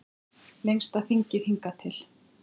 Lengsta þingið hingað til